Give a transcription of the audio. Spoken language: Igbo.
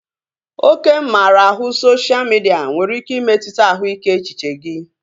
Oke mmara ahụ sosha midia nwere ike imetụta ahụike echiche gị